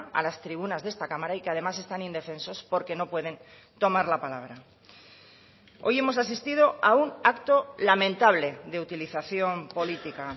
a las tribunas de esta cámara y que además están indefensos porque no pueden tomar la palabra hoy hemos asistido a un acto lamentable de utilización política